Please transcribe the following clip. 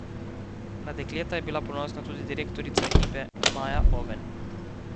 Na dekleta je bila ponosna tudi direktorica ekipe Maja Oven.